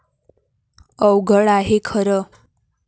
अवघड आहे खरे.